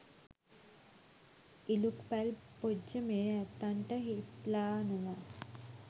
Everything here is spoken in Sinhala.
ඉලූක් පැල් පොජ්ජ මේ ඇත්තන්ට හිත්ලානවා.